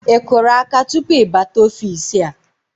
Ị kụrụ áká tupu ị bata ofiisi a?